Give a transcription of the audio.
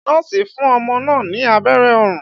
Nọ́ọ̀sì fún ọmọ náà ní abẹ́rẹ́ orun.